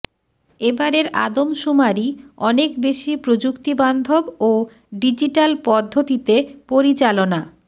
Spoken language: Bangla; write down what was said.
এবারের আদমশুমারি অনেক বেশি প্রযুক্তিবান্ধব ও ডিজিটাল পদ্ধতিতে পরিচালনা